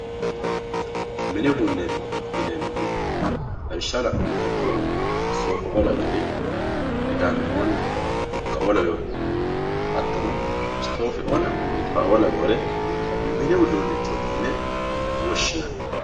Mini uduuneti yinemohu lawishaho lanumoha ikiro sofaoo laweori kidanaona dukaoo laweori hatono istofeoona moqonqoraoo laweore mini udunichoti yine woshinani